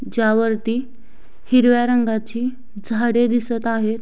ज्या वरती हिरव्या रंगाची झाडे दिसत आहेत.